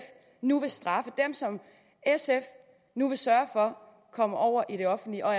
nu vil straffe dem som sf nu vil sørge for kommer over i det offentlige og